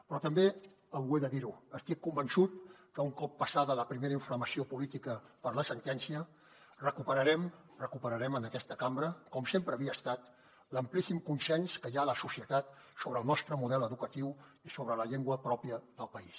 però també ho he de dir estic convençut que un cop passada la primera inflamació política per la sentència recuperarem en aquesta cambra com sempre havia estat l’amplíssim consens que hi ha a la societat sobre el nostre model educatiu i sobre la llengua pròpia del país